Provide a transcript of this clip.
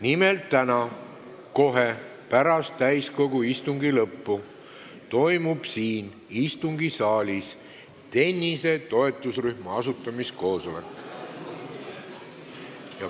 Nimelt, täna kohe pärast täiskogu istungi lõppu toimub siin istungisaalis tennise toetusrühma asutamiskoosolek.